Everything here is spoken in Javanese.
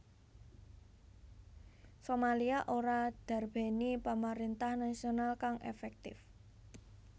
Somalia ora ndarbèni pamaréntah nasional kang efektif